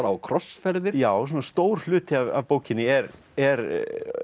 og krossferðir já svona stór hluti af bókinni er er